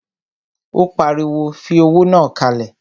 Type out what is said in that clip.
Ó pariwo, fi owó náà kalẹ̀!